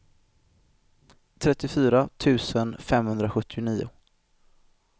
trettiofyra tusen femhundrasjuttionio